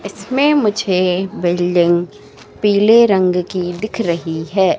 इसमें मुझे बिल्डिंग पीले रंग की दिख रही है।